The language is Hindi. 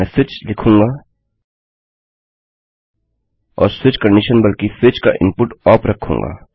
मैं स्विच लिखूँगा और स्विचकन्डिशन बल्कि स्विच का इनपुट ओप रखूँगा